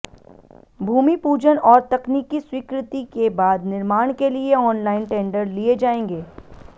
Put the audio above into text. भूमि पूजन और तकनीकी स्वीकृति के बाद निर्माण के लिए ऑनलाइन टेंडर लिए जाएंगे